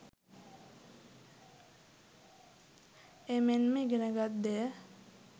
එමෙන්ම ඉගෙනගත් දෙය